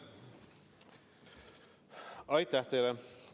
Aitäh teile!